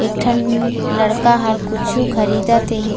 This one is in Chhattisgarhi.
एक ठन लड़का हर कुछु खरीदत हे।